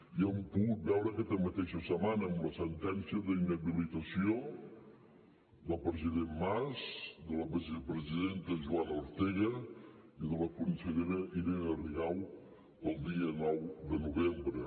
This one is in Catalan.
i ho hem pogut veure aquesta mateixa setmana amb la sentència d’inhabilitació del president mas de la vicepresidenta joana ortega i de la consellera irene rigau pel dia nou de novembre